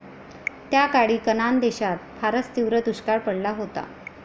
त्याकाळी कनान देशात फारच तीव्र दुष्काळ पडला होता.